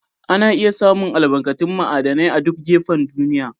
Ana iya samu albarkatun ma'aidinai a'duk gafen duniyya.